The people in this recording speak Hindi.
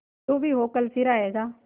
जो भी हो कल फिर आएगा